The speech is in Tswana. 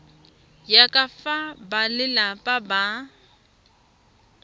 ya ka fa balelapa ba